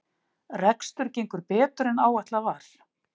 Rekstur gengur betur en áætlað var